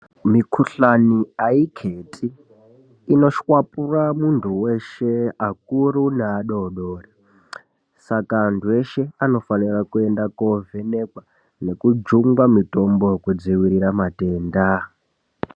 Mikhuhlane aikheti. Inoshwapura munhu weshe akuru neadodori, saka anhu eshe anofanira kuenda kovhenekwa nekujungwa mitombo yekudzivirira matenda.